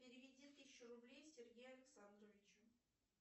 переведи тысячу рублей сергею александровичу